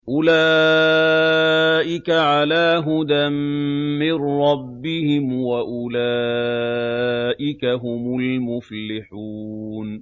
أُولَٰئِكَ عَلَىٰ هُدًى مِّن رَّبِّهِمْ ۖ وَأُولَٰئِكَ هُمُ الْمُفْلِحُونَ